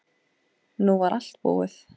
Nú var allt búið.